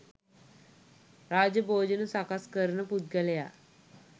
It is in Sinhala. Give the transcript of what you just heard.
රාජ භෝජන සකස් කරන පුද්ගලයා